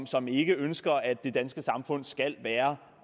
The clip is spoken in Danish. som ikke ønsker at det danske samfund skal være